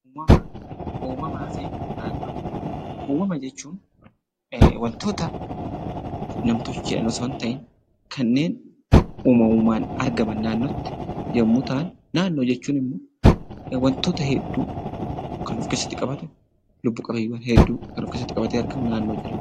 Uumamaa fi naannoo. Uumamaa jechuun waantoota nam-tolcheedhaan osoo hin ta'in kannen uumamuun argaam naannootti. Naannoo jechuun immoo waantoota hedduu kan of keessatti qabate, lubbu qabeenyiwwaan hedduu kan of keessatti qabte argamuu naannoo jedhama.